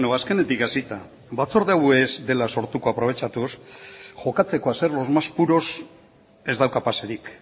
azkenetik hasita batzorde hau ez dela sortuko aprobetxatuz jokatzeko a ser los más puros ez dauka paserik